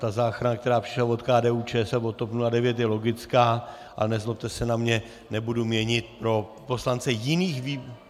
Ta záchrana, která přišla od KDU-ČSL nebo TOP 09 je logická, ale nezlobte se na mě, nebudu měnit pro poslance jiných výborů...